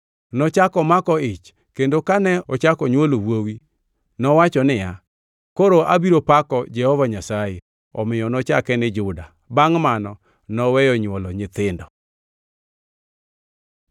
Nochako omako ich, kendo kane ochako onywolo wuowi nowacho niya, “Koro abiro pako Jehova Nyasaye.” Omiyo nochake ni Juda. + 29:35 Juda gi dho jo-Hibrania en Pak. Bangʼ mano noweyo nywolo nyithindo.